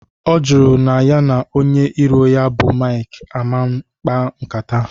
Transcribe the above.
Ọ jụrụ na ya na onye iro ya bụ Maịk aman kpaa nkata